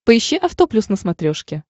поищи авто плюс на смотрешке